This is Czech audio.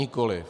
Nikoli.